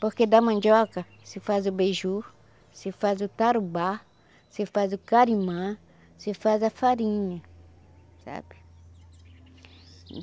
Porque da mandioca, se faz o beiju, se faz o tarubá, se faz o carimã, se faz a farinha, sabe?